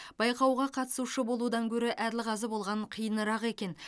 байқауға қатысушы болудан гөрі әділқазы болған қиынырақ екен